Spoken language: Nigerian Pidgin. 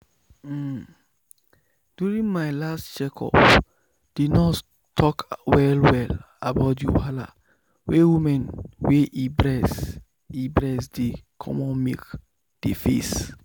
um during my last checkup the nurse talk well well about the wahala wey woman wey e breast e breast dey comot milk dey face.